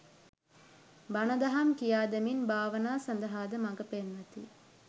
බණ දහම් කියාදෙමින් භාවනා සඳහාද මඟපෙන්වති.